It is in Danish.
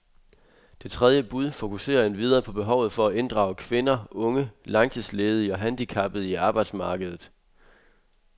Det tredje bud fokuserer endvidere på behovet for at inddrage kvinder, unge, langtidsledige og handicappede i arbejdsmarkedet.